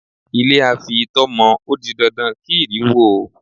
Ilé a fi itọ́ mọ ó di dandan kí ìrì wó ó.